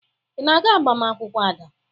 Ị na-aga agbamaakwụkwọ Ada?